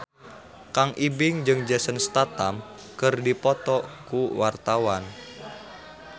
Kang Ibing jeung Jason Statham keur dipoto ku wartawan